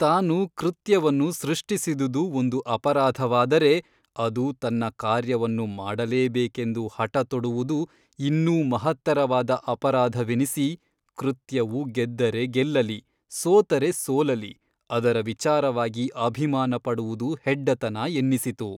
ತಾನು ಕೃತ್ಯವನ್ನು ಸೃಷ್ಟಿಸಿದುದು ಒಂದು ಅಪರಾಧವಾದರೆ ಅದು ತನ್ನ ಕಾರ್ಯವನ್ನು ಮಾಡಲೇಬೇಕೆಂದು ಹಟ ತೊಡುವುದು ಇನ್ನೂ ಮಹತ್ತರವಾದ ಅಪರಾಧವೆನಿಸಿ ಕೃತ್ಯವು ಗೆದ್ದರೆ ಗೆಲ್ಲಲಿ ಸೋತರೆ ಸೋಲಲಿ ಅದರ ವಿಚಾರವಾಗಿ ಅಭಿಮಾನ ಪಡುವುದು ಹೆಡ್ಡತನ ಎನ್ನಿಸಿತು.